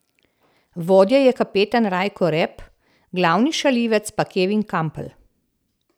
Vodja je kapetan Rajko Rep, glavni šaljivec pa Kevin Kampl.